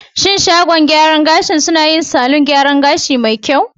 Shin shagon gyaran gashin suna yi salon gyaran gashi me kyau?